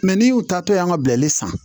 n'i y'u ta to yan ka bilali san